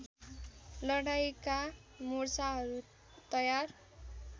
लडाईँँका मोर्चाहरू तयार